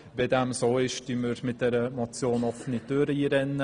Wenn dem so ist, rennen wir mit dieser Motion offene Türen ein.